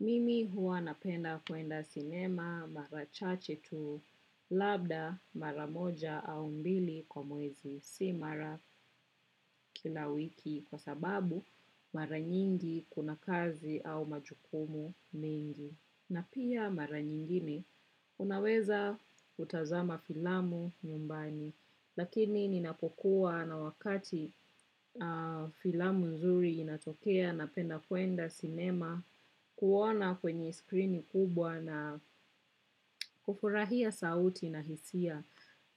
Mimi huwa napenda kuenda sinema, mara chache tu. Labda, mara moja au mbili kwa mwezi. Si mara kila wiki, kwa sababu, mara nyingi kuna kazi, au majukumu mingi. Na pia mara nyingine, unaweza utazama filamu nyumbani. Lakini, ninapokuwa na wakati, filamu nzuri inatokea na penda kuenda cinema, kuona kwenye screen kubwa na kufurahia sauti na hisia,